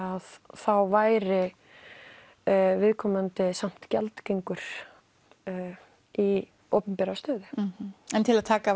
þá væri viðkomandi samt gjaldgengur í opinbera stöðu en til að taka af